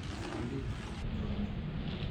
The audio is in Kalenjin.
Sukulit nyun ni.